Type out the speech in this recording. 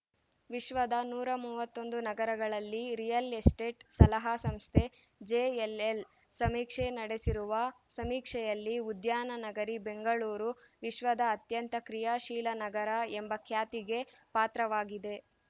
ವಿಶ್ವದ ನೂರ ಮೂವತ್ತೊಂದು ನಗರಗಳಲ್ಲಿ ರಿಯಲ್‌ ಎಸ್ಟೇಟ್‌ ಸಲಹಾ ಸಂಸ್ಥೆ ಜೆಎಲ್‌ಲ್‌ ಸಮೀಕ್ಷೆ ನಡೆಸಿರುವ ಸಮೀಕ್ಷೆಯಲ್ಲಿ ಉದ್ಯಾನ ನಗರಿ ಬೆಂಗಳೂರು ವಿಶ್ವದ ಅತ್ಯಂತ ಕ್ರಿಯಾ ಶೀಲ ನಗರ ಎಂಬ ಖ್ಯಾತಿಗೆ ಪಾತ್ರವಾಗಿದೆ